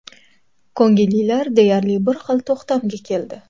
Ko‘ngillilar deyarli bir xil to‘xtamga keldi.